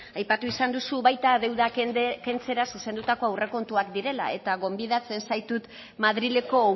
aipatu izan duzu baita deuda kentzera zuzendatuko aurrekontuak direla eta gonbidatzen zaitut madrileko